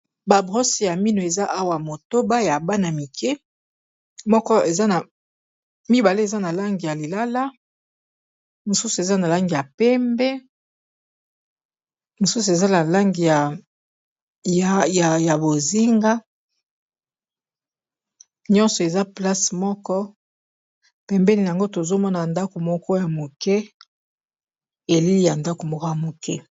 ba brose ya mino eza awa motoba ya bana mike moko mibale eza na langi ya lilala mosusu eza na langi ya pembe mosusu eza na langi ya bozinga nyonso eza place moko pembeni yango tozomona ndako moko ya moke .